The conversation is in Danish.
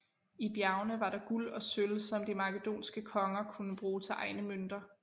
I bjergene var der guld og sølv som de makedonske konger kunne bruge til egne mønter